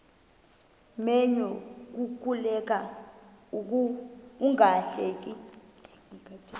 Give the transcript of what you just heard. menyo kukuleka ungahleki